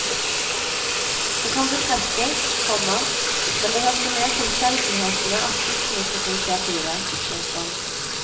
Det kan bekreftes, komma men det hørte med til sjeldenhetene at guttene tok initiativet. punktum